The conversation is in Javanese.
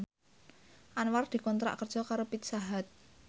Anwar dikontrak kerja karo Pizza Hut